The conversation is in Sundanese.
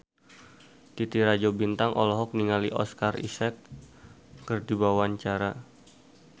Titi Rajo Bintang olohok ningali Oscar Isaac keur diwawancara